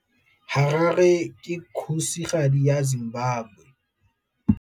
Harare ke kgosigadi ya Zimbabwe.